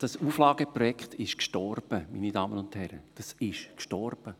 Dieses Auflageprojekt ist gestorben, meine Damen und Herren, dieses ist gestorben.